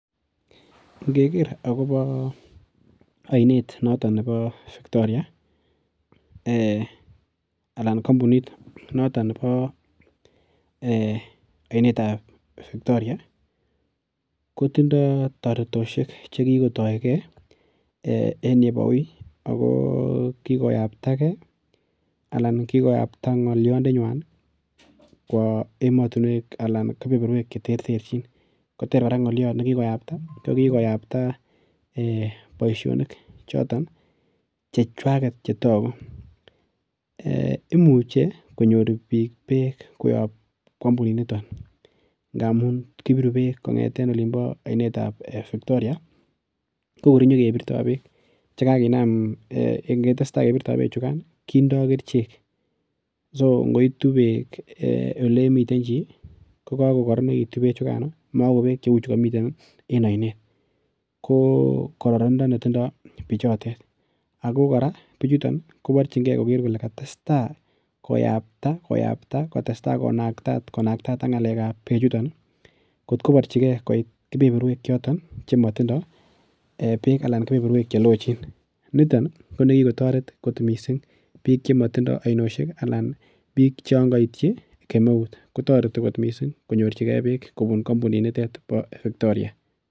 Ngeker akobo ainet noto nebo Victoria, anan kambunit noto nebo ainetab Victoria kotindo toretosiek che kikotoige en yebo ui ago kikoyaptage anan kikoyapta ngolyondenywan kwo ematinwek anan keberberwek cheterterchin koter kora ngolyot ne kikoyapta, ko kikoyapta boisionik choton chechwaget chetagu. Imuche konyor biik beek koyob kampuninito ngamun kibiru beek kongete ainetab Victoria kogor konyekebirto beek che kaginam ingetai kebirto beechukan kindo kerichek, songoitu beek elemiten chi kokokororonegitu beechugano makomi en ainet. Ko kororonindo netindo beechotet ago kora biichuton koborchinge koger kole katesta koyapta konakta, kotesta konaktaat ak ngalekab beechuton kotkoborchige koit keberberwek choton chemotindo beek anan keberberwek checloochin. Niton ko nekikotaret kot mising keberberwek chemotindo ainosiek anan biik chon kaityi kemeut kotoreti kot mising konyorchige beek kobun kampunitnitet kobun Victoria.